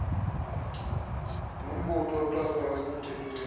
nombutho oxhasayo osemthethweni